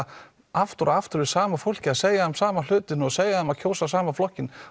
aftur og aftur við sama fólkið og segja þeim sama hlutinn og segja þeim að kjósa sama flokkinn